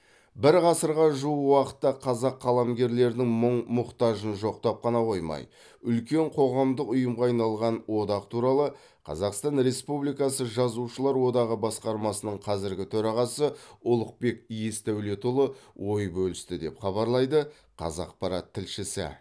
бір ғасырға жуық уақытта қазақ қаламгерлерінің мұң мұқтажын жоқтап қана қоймай үлкен қоғамдық ұйымға айналған одақ туралы қазақстан республикасы жазушылар одағы басқармасының қазіргі төрағасы ұлықбек есдәулетұлы ой бөлісті деп хабарлайды қазақпарат тілшісі